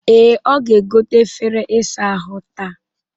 Ee, ọ ga-egote efere isa ahụ taa